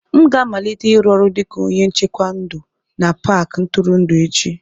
M ga-amalite ịrụ ọrụ dịka onye nchekwa ndụ na Paakị ntụrụndụ echi